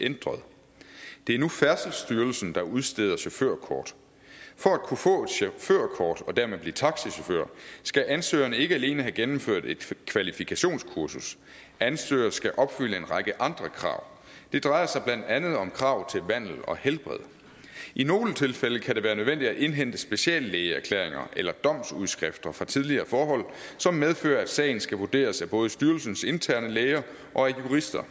ændret det er nu færdselsstyrelsen der udsteder chaufførkort for at kunne få et chaufførkort og dermed blive taxachauffør skal ansøgeren ikke alene have gennemført et kvalifikationskursus ansøgeren også skal opfylde en række andre krav det drejer sig blandt andet om krav til vandel og helbred i nogle tilfælde kan det være nødvendigt at indhente speciallægeerklæringer eller domsudskrifter fra tidligere forhold som medfører at sagen skal vurderes af både styrelsens interne læger og af jurister